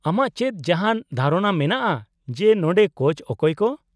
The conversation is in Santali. -ᱟᱢᱟᱜ ᱪᱮᱫ ᱡᱟᱦᱟᱸᱱ ᱫᱷᱟᱨᱚᱱᱟ ᱢᱮᱱᱟᱜᱼᱟ ᱡᱮ ᱱᱚᱸᱰᱮ ᱠᱳᱪ ᱚᱠᱚᱭ ᱠᱚ ?